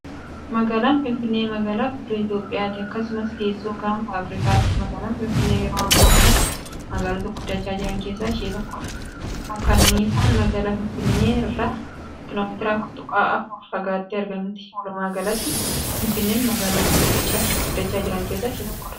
Magaalaan Finfinnee magaalaa guddoo Itoophiyaati. Akkasumas, teessoo Ganfa Afriikaati. Magaalaan Finfinnee yeroo ammaa kanaatti magaaloota guddachaa jiran keessaa ishee tokkoodha. Makkanisaan magaalaa Finfinnee irraa Km 4.4 fagaattee argamti. Walumaagalatti, Finfinneen magaalaa guddachaa jiran keessaa ishee tokkoodha.